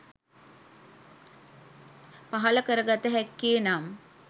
පහළ කර ගත හැක්කේ, නම්